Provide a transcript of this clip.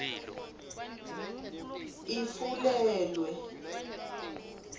ifulelwa